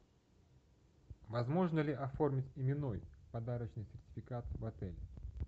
возможно ли оформить именной подарочный сертификат в отеле